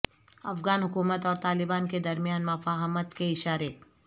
افغان حکومت اور طالبان کے درمیان مفاہمت کے اشارے